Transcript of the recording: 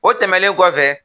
O tɛmɛlen kɔfɛ